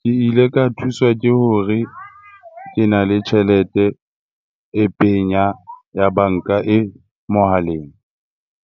Ke ile ka thuswa ke hore, ke na le tjhelete e penya ya banka e mohaleng.